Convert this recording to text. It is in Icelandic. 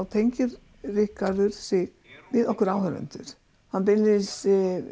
tengir Ríkharður sig við okkur áhorfendur hann beinlínis